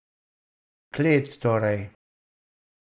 Klet, torej.